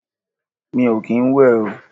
Mi ò kín ń wẹ̀ o.